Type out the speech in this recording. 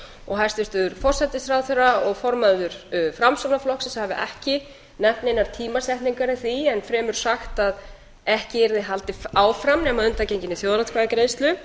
og hæstvirtur forsætisráðherra og formaður framsóknarflokksins hafi ekki nefnt neinar tímasetningar í því en fremur sagt að ekki yrði haldið áfram nema að undangenginni þjóðaratkvæðagreiðslu